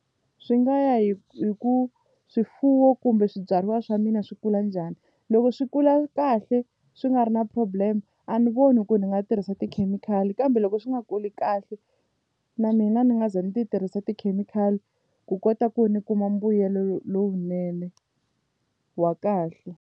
Swi nga ya hi hi ku swifuwo kumbe swibyariwa swa mina swi kula njhani loko swi kula kahle swi nga ri na problem a ni voni ku ndzi nga tirhisa tikhemikhali kambe loko swi nga kuli kahle na mina ni nga ze ni ti tirhisa tikhemikhali ku kota ku ndzi kuma mbuyelo lowunene wa kahle.